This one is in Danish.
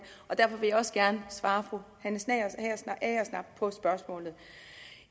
og derfor vil jeg også gerne svare fru hanne agersnap på spørgsmålet